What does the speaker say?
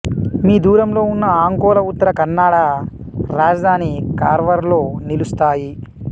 మి దూరంలో ఉన్న అంకోలా ఉత్తర కన్నడ రాజధాని కార్వార్లో నిలుస్తాయి